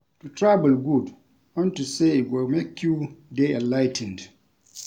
To travel good unto say e go make you dey enligh ten ed